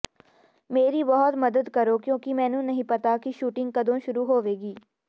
ਮੇਰੀ ਬਹੁਤ ਮਦਦ ਕਰੋ ਕਿਉਂਕਿ ਮੈਨੂੰ ਨਹੀਂ ਪਤਾ ਕਿ ਸ਼ੂਟਿੰਗ ਕਦੋਂ ਸ਼ੁਰੂ ਹੋਵੇਗੀ